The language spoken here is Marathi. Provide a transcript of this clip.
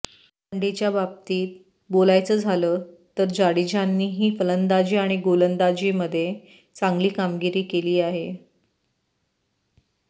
वन डेच्या बाबतीत बोलायचं झालं तर जाडेजानेही फलंदाजी आणि गोलंदाजीमध्ये चांगली कामगिरी केली आहे